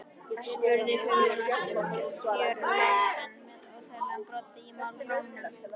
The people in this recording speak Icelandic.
spurði Hugrún næstum fjörlega en með óþægilegan brodd í málrómnum.